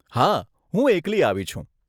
હા, હું એકલી આવી છું.